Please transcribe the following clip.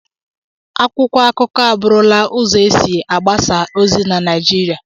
Akwụkwọ akụkọ abụrụla ụzọ e si agbasa ozi na Naịjirịa.